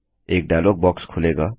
एक dialog box खुलेगा